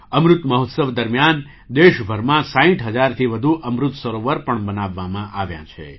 અમૃત મહોત્સવ દરમિયાન દેશભરમાં ૬૦ હજારથી વધુ અમૃત સરોવર પણ બનાવવામાં આવ્યાં છે